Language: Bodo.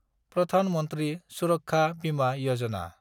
प्रधान मन्थ्रि सुरक्षा बिमा यजना